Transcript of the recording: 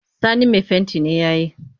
Sani mai fenti ne ya yi